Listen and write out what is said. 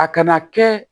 A kana kɛ